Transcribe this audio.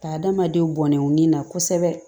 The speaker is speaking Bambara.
Ka adamadenw bɔn nin na kosɛbɛ